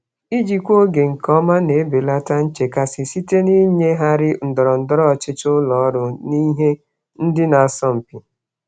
Ijikwa oge nke ọma na-ebelata nchekasị site n'ịgagharị ndọrọndọrọ ụlọ ọrụ na ihe ndị na-asọ mpi.